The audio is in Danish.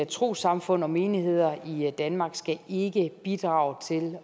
trossamfund og menigheder i danmark skal ikke bidrage til